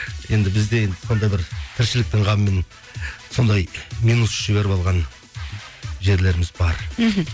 енді бізде енді сондай бір тіршіліктің қамымен сондай минус жіберіп алған жерлеріміз бар мхм